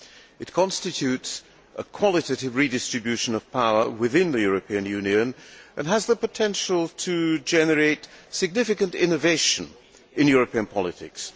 It constitutes a qualitative redistribution of power within the European Union and has the potential to generate significant innovation in European politics.